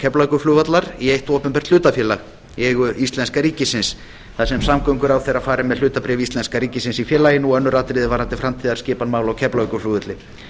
keflavíkurflugvallar í eitt opinbert hlutafélag í eigu íslenska ríkisins þar sem samgönguráðherra fari með hlutabréf íslenska ríkisins í félaginu og önnur atriði varðandi framtíðarskipan mála á keflavíkurflugvelli